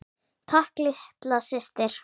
Takk litla systir.